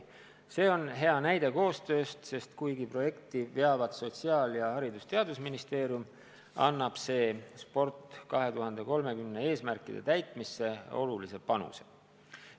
See on hea näide koostööst, sest projekti veavad koos Sotsiaalministeerium ning Haridus- ja Teadusministeerium ning see annab "Sport 2030" eesmärkide täitmisse olulise panuse.